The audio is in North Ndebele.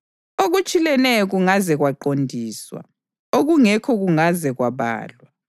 Okutshileneyo kungaze kwaqondiswa; okungekho kungaze kwabalwa.